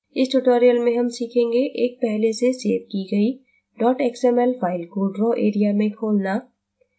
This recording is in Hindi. इस tutorial में हम सीखेंगें : एक पहले से सेव की गई xml फ़ाइल को draw area में खोलना